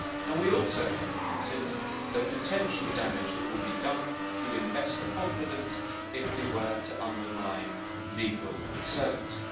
We also have to consider the potential damage that would be done to investor confidence if we were to undermine legal certainty.